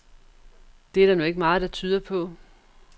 Det er der nu ikke meget, der tyder på.